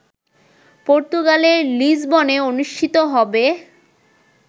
পর্তুগালের লিসবনে অনুষ্ঠিত হবে